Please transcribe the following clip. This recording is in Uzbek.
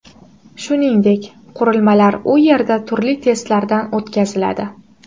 Shuningdek, qurilmalar u yerda turli testlardan o‘tkaziladi.